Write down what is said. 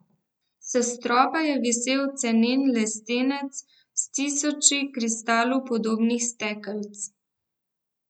S stropa je visel cenen lestenec s tisoči kristalu podobnih stekelc.